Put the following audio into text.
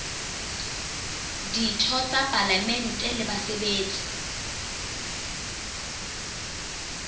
ditho tsa palamente le basebetsi